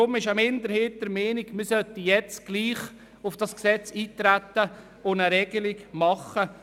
Deshalb ist eine Minderheit der Meinung, man sollte jetzt gleichwohl auf das Gesetz eintreten und eine Regelung festlegen.